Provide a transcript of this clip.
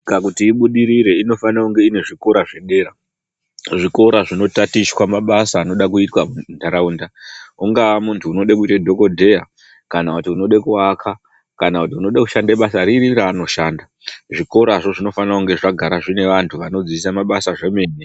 Nyika kuti ibudirire inofane kunge ine zvikora zvedera. Zvikora zvinotatichwa mabasa anoda kuitwa muntaraunda. Ungaa muntu unode kuite dhokodheya ,kana kuti unode kuaka, kana kuti unode kushande basa riri raanoshanda, zvikorazvo zvinofana kunga zvagara zvine vantu vanodzidzise mabasa zvemene.